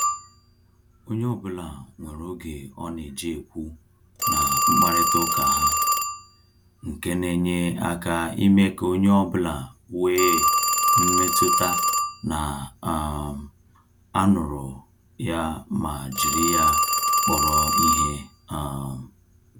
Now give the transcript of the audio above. Onye ọbụla nwere oge ọ na-eji ekwu na-mkparịta uka ha, nke na enye aka ime ka onye ọ bụla wee mmetụta na um anuru ya ma jiri ya kpọrọ ihe um